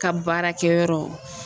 Ka baarakɛ yɔrɔ.